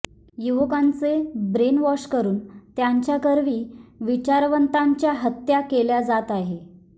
युवकांचे ब्रेनवॉश करून त्यांच्याकरवी विचारवंतांच्या हत्त्या केल्या जात आहेत